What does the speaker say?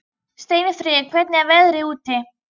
Steinfríður, hvernig er veðrið úti?